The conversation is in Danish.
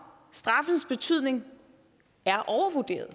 straffens betydning er overvurderet